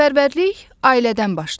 Vətənpərvərlik ailədən başlayır.